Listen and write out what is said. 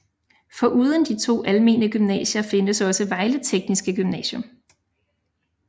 Foruden de to almene gymnasier findes også Vejle Tekniske Gymnasium